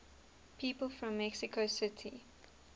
people from mexico city